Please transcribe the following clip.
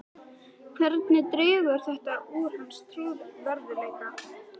Hvernig dregur þetta úr hans trúverðugleika?